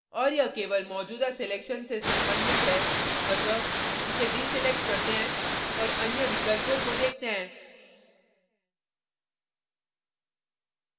और यह केवल मौजूदा selection से संबंधित है अतः इसे deselect करते हैं और अन्य विकल्पों को देखते हैं